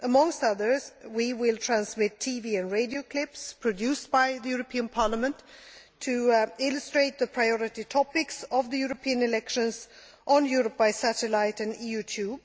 Amongst others, we will transmit TV and radio clips produced by Parliament to illustrate the priority topics of the European elections on Europe by satellite and EU Tube.